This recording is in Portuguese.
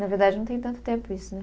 Na verdade, não tem tanto tempo isso, né?